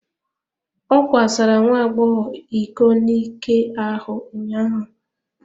Ọ kwasara nwa agbọghọ iko n'ike ahụ ụnyaahụ.